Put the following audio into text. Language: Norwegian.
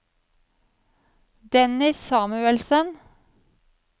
Dennis Samuelsen